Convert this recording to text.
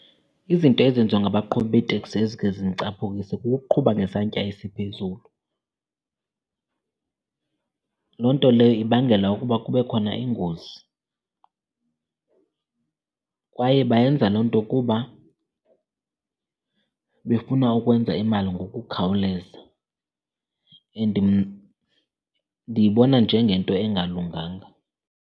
Izinto ezenziwa ngabaqhubi beeteksi ezikhe zindicaphukise kukuqhuba ngesantya esiphezulu. Loo nto leyo ibangela ukuba kube khona iingozi, kwaye bayenza loo nto kuba befuna ukwenza imali ngokukhawuleza and ndiyibona njengento engalunganga.